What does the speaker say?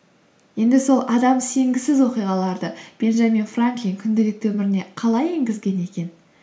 енді сол адам сенгісіз оқиғаларды бенджамин франклин күнделікті өміріне қалай енгізген екен